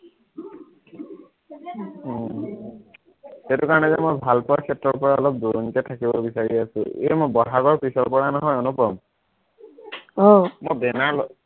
উম সেইটো কাৰণে যে মই ভালপোৱাৰ ক্ষেত্ৰৰপৰা অলপ দূৰণীতে থাকিব বিচাৰি আছো এৰ মই বহাগৰ পিছৰপৰা নহয় অনুপম, আহ মই banner